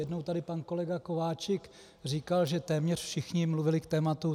Jednou tady pan kolega Kováčik říkal, že téměř všichni mluvili k tématu.